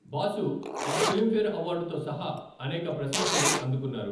Boss ఒక Filmfare అవార్డుతో సహా అనేక ప్రశంసలు అందుకున్నారు.